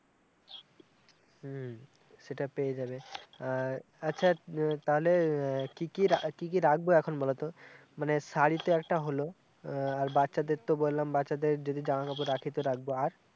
হম সেটা পেয়ে যাবে, আর আচ্ছা তালে কি-কি-কি-কি রাখবো এখন বলো তো মানে শাড়ি তো একটা হলো আর বাচ্চাদের তো বললাম বাচ্চাদের যদি জামা-কাপড় রাখি তো রাখবো, আর?